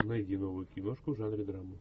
найди новую киношку в жанре драма